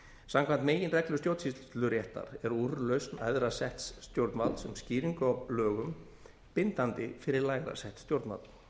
samkvæmt meginreglu stjórnsýsluréttar er úrlausn æðra setts stjórnvalds um skýringu á lögum bindandi fyrir lægra sett stjórnvald